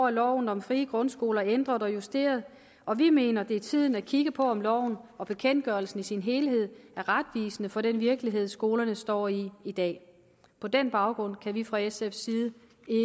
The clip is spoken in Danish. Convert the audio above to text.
er loven om frie grundskoler ændret og justeret og vi mener det er tiden at kigge på om loven og bekendtgørelsen i sin helhed er retvisende for den virkelighed skolerne står i i dag på den baggrund kan vi fra sfs side